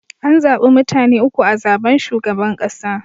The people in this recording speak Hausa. An zabi mutane uku a zaben shugaban kasa.